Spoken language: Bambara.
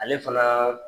Ale fana